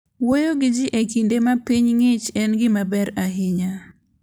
Wuoyo gi ji e kinde ma piny ng'ich en gima ber ahinya.